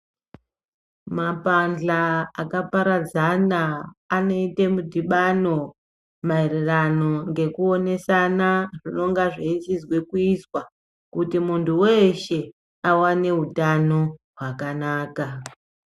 Mapandla akaparadzana anoite mudhibano maererano ngekuonesana zvinenge zveichizwa kuizwa kuti muntu weshe, awane utano hwakanaka.